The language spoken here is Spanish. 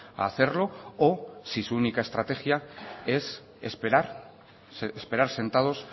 a hacerlo o si su única estrategia es esperar esperar sentados